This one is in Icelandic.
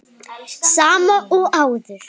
Sama og áður.